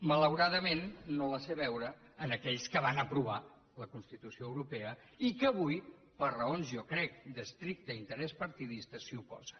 malauradament no la sé veure en aquells que van aprovar la constitució europea i que avui per raons jo crec d’estricte interès partidista s’hi oposen